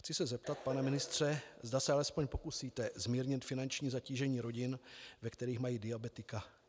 Chci se zeptat, pane ministře, zda se alespoň pokusíte zmírnit finanční zatížení rodin, ve kterých mají diabetika.